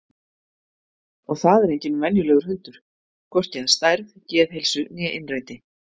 Og það er enginn venjulegur hundur, hvorki að stærð, geðheilsu né innræti.